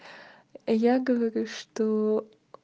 я говорю что